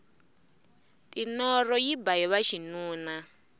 tinoro yi ba hiva xinuna